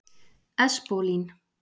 Espólín